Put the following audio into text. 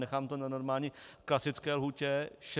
Nechám to na normální klasické lhůtě 60 dnů.